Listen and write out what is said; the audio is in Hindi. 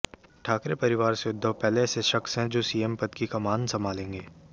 ठाकरे परिवार से उद्धव पहले ऐसे शख्स हैं जो सीएम पद की कमान संभालेंगे